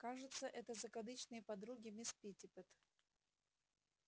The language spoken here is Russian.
кажется это закадычные подруги мисс питтипэт